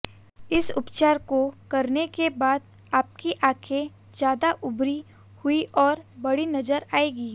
इस उपचार को करने के बाद आपकी आंखें ज़्यादा उभरी हुई और बड़ी नज़र आएंगी